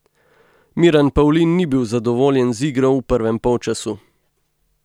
Miran Pavlin ni bil zadovoljen z igro v prvem polčasu.